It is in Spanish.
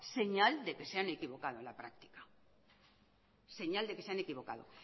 señal de que se han equivocado en la práctica señal de que se han equivocado